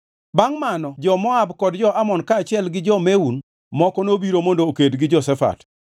Bangʼ mano jo-Moab kod jo-Amon kaachiel gi jo-Meun moko nobiro mondo oked gi Jehoshafat.